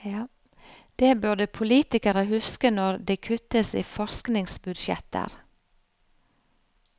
Det burde politikere huske når det kuttes i forskningsbudsjetter.